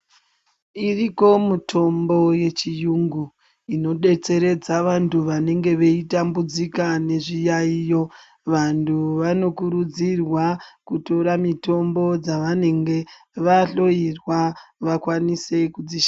Iriko mutombo yechiyungu inodetseredza vantu vanenge veitambudzika zvezviyaiyo. Vantu vanokurudzirwa kutora mitombo dzavanenge vahloyirwa vakwanise kudzi .